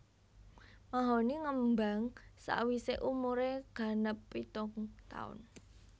Mahoni ngembang sawisé umuré ganep pitung taun